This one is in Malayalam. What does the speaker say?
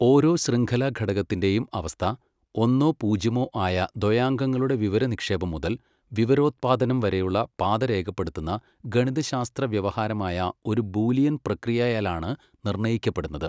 ഓരോ ശൃംഖലാഘടകത്തിൻ്റെയും അവസ്ഥ, ഒന്നോ പൂജ്യമോ ആയ ദ്വയാങ്കങ്ങളുടെ വിവരനിക്ഷേപം മുതൽ വിവരോത്പാദനം വരെയുള്ള പാത രേഖപ്പെടുത്തുന്ന ഗണിതശാസ്ത്ര വ്യവഹാരമായ ഒരു ബൂലിയൻ പ്രക്രിയയാലാണ് നിർണ്ണയിക്കപ്പെടുന്നത്.